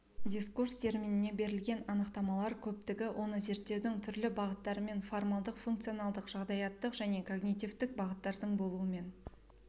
дискурс терминіне берілген анықтамалар көптігі оны зерттеудің түрлі бағыттарымен формалдық функционалдық жағдаяттық және когнитивтік бағыттардың болуымен